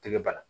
Tɛgɛ ba la